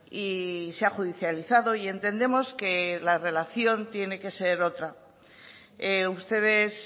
y se ha judicializado y entendemos que la relación tiene que ser otra ustedes